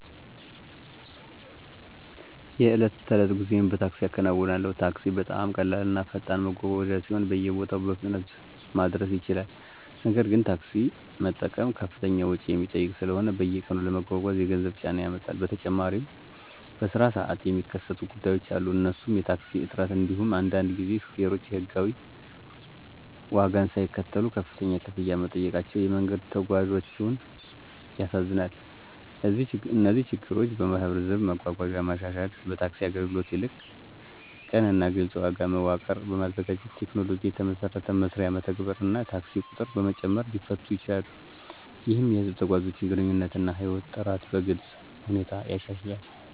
የዕለት ተዕለት ጉዞዬን በታክሲ እከናዉናለሁ። ታክሲ በጣም ቀላል እና ፈጣን መጓጓዣ ሲሆን በየቦታው በፍጥነት ማድረስ ይችላል። ነገር ግን፣ ታክሲ መጠቀም ከፍተኛ ወጪ የሚጠይቅ ስለሆነ በየቀኑ ለመጓጓዝ የገንዘብ ጫና ያመጣል። በተጨማሪም በስራ ሰዓት የሚከሰቱ ጉዳዮች አሉ እነሱም የታክሲ እጥረት እንዲሁም አንዳንድ ጊዜ ሾፌሮች የሕጋዊ ዋጋን ሳይከተሉ ከፍተኛ ክፍያ መጠየቃቸው የመንገድ ተጓዞችን ያሳዝናል። እነዚህ ችግሮች በህዝብ መጓጓዣ ማሻሻል፣ ታክሲ አገልግሎት ላይ ቅን እና ግልፅ ዋጋ መዋቀር በማዘጋጀት፣ ቴክኖሎጂን የተመሰረተ መስሪያ መተግበር እና የታክሲ ቁጥር በመጨመር ሊፈቱ ይችላሉ። ይህም የህዝብ ተጓዦችን ግንኙነት እና ህይወት ጥራት በግልጽ ሁኔታ ያሻሽላል።